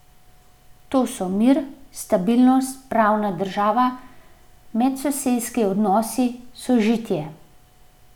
To so mir, stabilnost, pravna država, medsosedski odnosi, sožitje.